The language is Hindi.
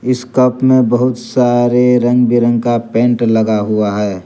इस कप में बहुत सारे रंग बिरंग का पेंट लगा हुआ है।